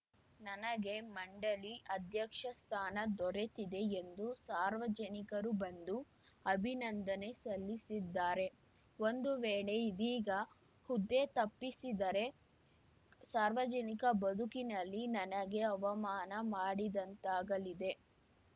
ನನಗೆ ಮಂಡಳಿ ಅಧ್ಯಕ್ಷ ಸ್ಥಾನ ದೊರೆತಿದೆ ಎಂದು ಸಾರ್ವಜನಿಕರು ಬಂದು ಅಭಿನಂದನೆ ಸಲ್ಲಿಸಿದ್ದಾರೆ ಒಂದು ವೇಳೆ ಇದೀಗ ಹುದ್ದೆ ತಪ್ಪಿಸಿದರೆ ಸಾರ್ವಜನಿಕ ಬದುಕಿನಲ್ಲಿ ನನಗೆ ಅವಮಾನ ಮಾಡಿದಂತಾಗಲಿದೆ